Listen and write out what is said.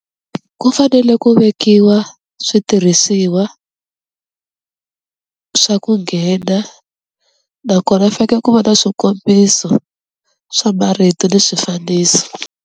Ku fanele ku vekiwa switirhisiwa swa ku nghena nakona faneke ku va na swikombiso swa marito ni swifaniso.